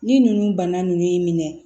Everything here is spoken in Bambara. Ni ninnu bana ninnu y'i minɛ